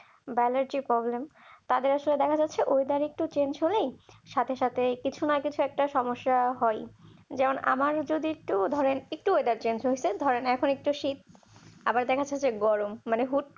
Banerjee problem তাদের আসলে দেখা যাচ্ছে হলেই সাথে সাথে কিছু না কিছুই একটা সমস্যা হবে যেমন আমার দিক থেকে ধরতে গেলে weather টা change হয়েছে ধরনের আবার দেখার যাচ্ছে গরম মনে হচ্ছে।